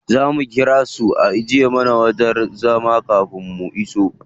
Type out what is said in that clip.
Za mu ƙira su ajiye mana wajen zama kafin mu iso.